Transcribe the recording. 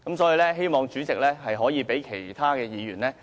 所以，希望主席能讓其他議員盡情發言，多謝主席。